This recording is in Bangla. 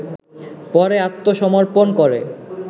পরে আত্মসমর্পণ করে